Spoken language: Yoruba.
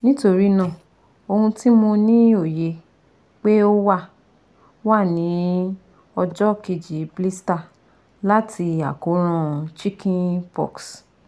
Nitorinaa, ohun ti mo ni oye pe o wa wa ni ọjọ keji blisters lati akoran Chicken-pox